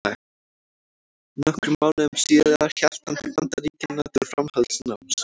Nokkrum mánuðum síðar hélt hann til Bandaríkjanna til framhaldsnáms.